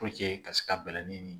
ka se ka bɛlɛnin